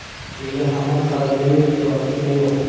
Nega hamon koronavirusga vaksina yo‘q?